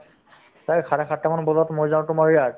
চাৰে চাৰেসাতটা মান বজাত মই যাওঁ তোমাৰ ইয়াত